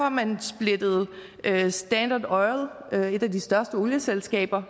at man splittede standard oil et af de største olieselskaber